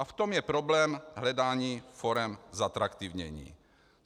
A v tom je problém hledání forem zatraktivnění.